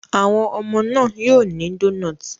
Àwọn ọmọ náà yóò ní donuts.